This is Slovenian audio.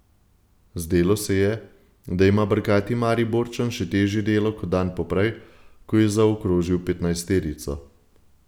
Zdelo se je, da ima brkati Mariborčan še težje delo kot dan poprej, ko je zaokrožil petnajsterico.